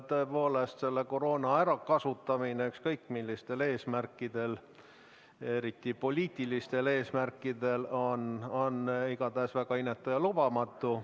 Tõepoolest, koroona ärakasutamine ükskõik millistel eesmärkidel, eriti poliitilistel eesmärkidel, on väga inetu ja lubamatu.